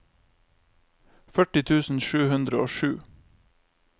førti tusen sju hundre og sju